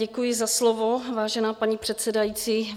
Děkuji za slovo, vážená paní předsedající.